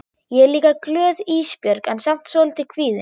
Ég er líka glöð Ísbjörg en samt svolítið kvíðin.